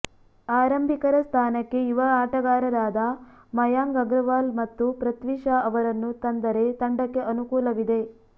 ಆರಂಭಿಕರ ಸ್ಥಾನಕ್ಕೆ ಯುವ ಆಟಗಾರರಾದ ಮಯಾಂಗ್ ಅಗರ್ವಾಲ್ ಮತ್ತು ಪೃಥ್ವಿ ಶಾ ಅವರನ್ನು ತಂದರೆ ತಂಡಕ್ಕೆ ಅನುಕೂಲವಿದೆ